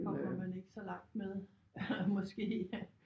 Kommer man ikke så langt med måske